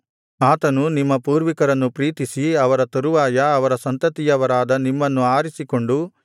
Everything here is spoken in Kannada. ಆತನು ನಿಮ್ಮ ಪೂರ್ವಿಕರನ್ನು ಪ್ರೀತಿಸಿ ಅವರ ತರುವಾಯ ಅವರ ಸಂತತಿಯವರಾದ ನಿಮ್ಮನ್ನು ಆರಿಸಿಕೊಂಡು